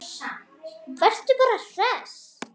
Vertu bara hress!